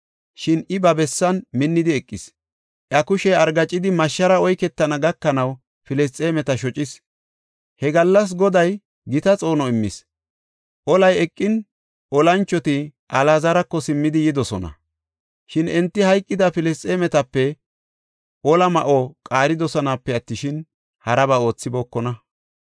Shin I ba bessan minni eqidi, iya kushey argaacidi mashshaara oyketana gakanaw Filisxeemeta shocis. He gallas Goday gita xoono immis. Olay eqin, olanchoti Alaazarako simmidi yidosona; shin enti hayqida Filisxeemetape ola ma7o qaaridosonape attishin, haraba oothibookona.